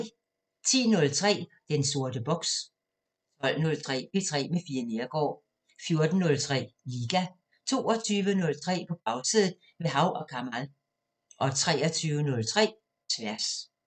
10:03: Den sorte boks 12:03: P3 med Fie Neergaard 14:03: Liga 22:03: På Bagsædet – med Hav & Kamal 23:03: Tværs